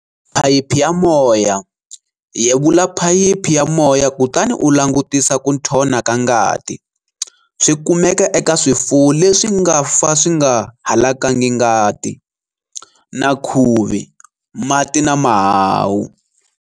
Phayiphi ya moya-Yevula phayiphi ya moya kutani u langutisa ku nthona ka ngati, swi kumeka eka swifwo lesi nga fa swi nga halakangi ngati, na khuvi, mati na mahahu.